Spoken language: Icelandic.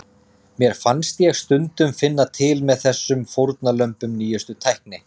Mér fannst ég stundum finna til með þessum fórnarlömbum nýjustu tækni.